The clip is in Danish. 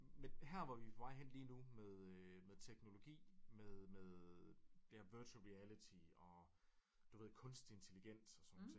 Men her hvor vi er på vej hen lige nu med øh med teknologi med med det her virtual reality og du ved kunstig intelligens og sådan nogle ting